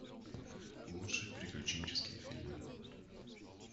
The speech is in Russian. лучшие приключенческие фильмы